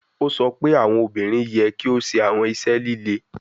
O sọ pe awọn obinrin yẹ ki o ṣe awọn iṣẹ lile